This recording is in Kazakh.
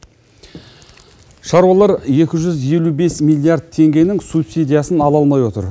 шаруалар екі жүз елу бес миллиард теңгенің субсидиясын ала алмай отыр